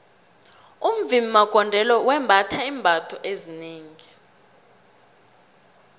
umvimbi magondelo wembatha iimbatho ezinengi